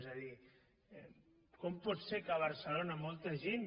és a dir com pot ser que a barcelona molta gent